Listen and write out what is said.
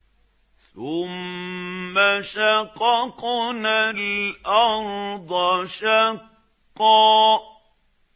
ثُمَّ شَقَقْنَا الْأَرْضَ شَقًّا